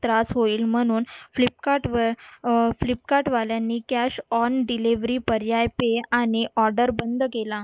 त्रास होईल म्हणून flipkart वर अं flipkart वाल्यांनी cash on delivery पर्याय ते आणि order बंद केला